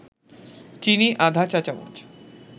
চিনি আধা চা-চামচ